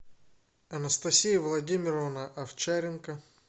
анастасия владимировна овчаренко